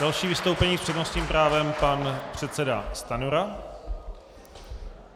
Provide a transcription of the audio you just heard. Další vystoupení s přednostním právem pan předseda Stanjura.